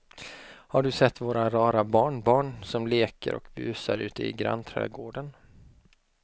Har du sett våra rara barnbarn som leker och busar ute i grannträdgården!